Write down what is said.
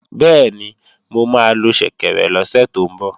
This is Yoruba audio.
Bẹ́ẹ̀ni, mo máa lo ṣẹ̀kẹ̀rẹ̀ lọ́sẹ̀ tó ń bọ̀